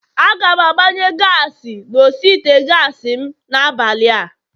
Aga m agbanye gaasi n'osi ite gaasi m n'abalịa